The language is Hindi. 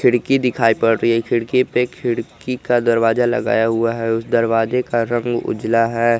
खिड़की दिखाई पड़ रही है खिड़की पे खिड़की का दरवाजा लगाया हुआ है उस दरवाजे का रंग उजला है।